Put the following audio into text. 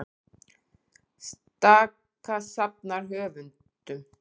Staka safnar höfundum